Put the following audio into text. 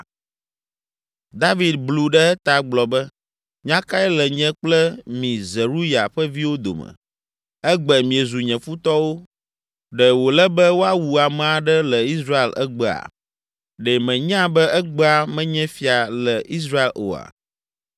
David blu ɖe eta gblɔ be, “Nya kae le nye kple mi Zeruya ƒe viwo dome? Egbe miezu nye futɔwo. Ɖe wòle be woawu ame aɖe le Israel egbea? Ɖe mènya be egbea menye fia le Israel oa?”